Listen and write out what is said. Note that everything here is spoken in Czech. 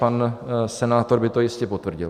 Pan senátor by to jistě potvrdil.